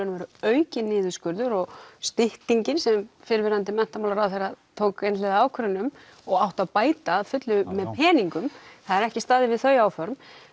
og veru aukinn niðurskurður og styttingin sem fyrrverandi menntamálaráðherra tók einhliða ákvörðun um og átti að bæta að fullu með peningum það er ekki staðið við þau áform